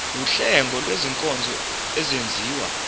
wuhlengo lwezinkonzo ezenziwa